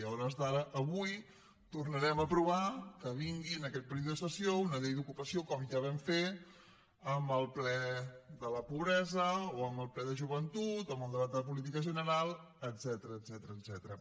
i a hores d’ara avui tornarem a aprovar que vingui en aquest període de sessions una llei d’ocupació com ja vam fer amb el ple de la pobresa o amb el ple de joventut o amb el debat de política general etcètera